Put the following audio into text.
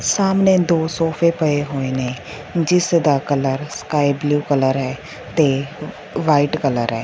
ਸਾਹਮਣੇ ਦੋ ਸੋਫੇ ਪਏ ਹੋਏ ਨੇ ਜਿਸ ਦਾ ਕਲਰ ਸਕਾਈਬਲੂ ਕਲਰ ਹੈ ਤੇ ਵਾਈਟ ਕਲਰ ਐ।